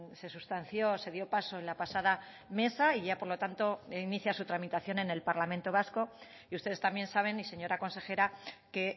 se sustanció se dio paso en la pasada mesa y ya por lo tanto inicia su tramitación en el parlamento vasco y ustedes también saben y señora consejera que